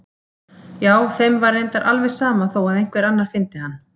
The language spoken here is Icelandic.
Já, þeim var reyndar alveg sama þó að einhver annar fyndi hann.